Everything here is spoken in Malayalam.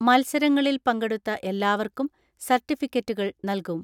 മത്സരങ്ങളിൽ പങ്കെടുത്ത എല്ലാവർക്കും സർട്ടിഫിക്കറ്റുകൾ നൽകും.